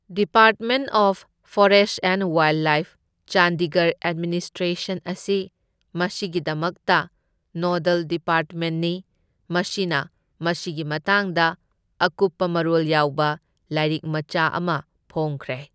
Department of forest and wildlife, Chandigarh administration ꯑꯁꯤ ꯃꯁꯤꯒꯤꯗꯃꯛꯇ nodal ꯗꯤꯄꯥꯔꯠꯃꯦꯟꯠꯅꯤ, ꯃꯁꯤꯅ ꯃꯁꯤꯒꯤ ꯃꯇꯥꯡꯗ ꯑꯀꯨꯞꯄ ꯃꯔꯣꯜ ꯌꯥꯎꯕ ꯂꯥꯏꯔꯤꯛ ꯃꯆꯥ ꯑꯃ ꯐꯣꯡꯈ꯭ꯔꯦ꯫